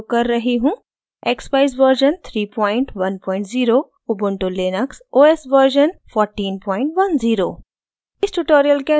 यहाँ मैं उपयोग कर रही हूँ: